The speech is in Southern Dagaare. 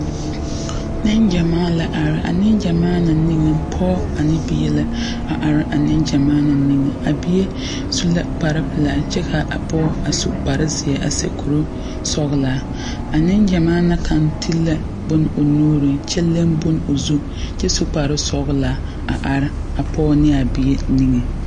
Neŋgyamaa la are a neŋgyamaa na niŋe pɔge ane bie la a are a neŋgyamaa na niŋe a bie su la kpare pelaa kyɛ ka a pɔge su kpare zeɛ a sɛ kuri sɔglaa a neŋgyamaa na kaŋ ti la bone o nuuriŋ kyɛ leŋ bone o zu kyɛ su kpare sɔglaa a are a pɔge ne a bie niŋeŋ.